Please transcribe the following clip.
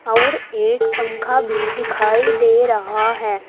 और एक पंखा भी दिखाई दे रहा है।